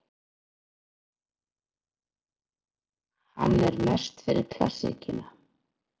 Hann er mest fyrir klassíkina.